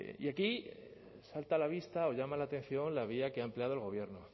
y aquí salta a la vista o llama la atención la vía que ha empleado el gobierno